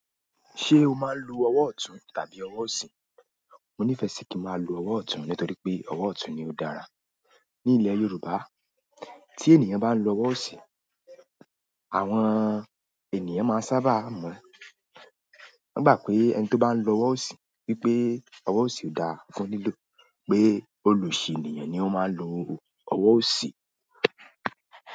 Ṣé o máa ń lo ọwọ́ ọ̀tún tàbí ọwọ́ òsì? Mo nífẹ̀ẹ́ sí kí n máa lo ọwọ́ ọ̀tún nítorí pé ọwọ́ ọ̀tún ni ó dára. Ní ilẹ̀ Yorùbá, tí ènìyàn bá ń lo ọwọ́ òsì, àwọn ènìyàn máa n sábà mọ̀, wọ́n gbà pé ẹni tó bá ń lo ọwọ́ òsì wípé ọwọ́ òsì ò dáa fún lílò pé olosi ènìyàn ni ó máa ń lo ọwọ́ òsì.